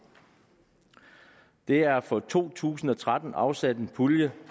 der er for to tusind og tretten afsat en pulje